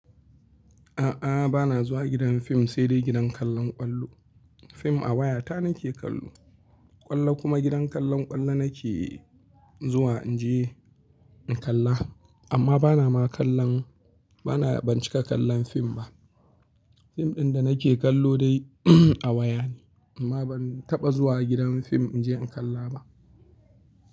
A'a, ba na zuwa gidan fim sai dai gidan kallon ƙwallo. Fim a waya ta nake kallo. Ƙwallo kuma gidan kallon ƙwallo nake zuwa in je in kalla. Amma bana ma kallon, bana banci ka kallon fim ba. Fim ɗin da nake kallo dai a waya ne. Amma ban taɓa zuwa gidan fim in je in kalla ba.